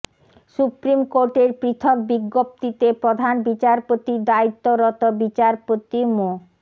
supreme কোর্টের পৃথক বিজ্ঞপ্তিতে প্রধান বিচারপতির দায়িত্বরত বিচারপতি মো